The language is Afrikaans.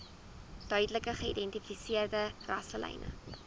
duidelik geïdentifiseerde rasselyne